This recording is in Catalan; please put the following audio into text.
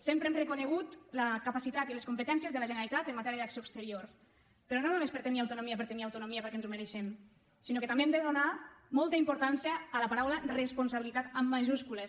sempre hem reconegut la capacitat i les competències de la generalitat en matèria d’acció exterior però no només per tenir autonomia per tenir autonomia perquè ens ho mereixem sinó que també hem de donar molta importància a la paraula responsabilitat en majúscules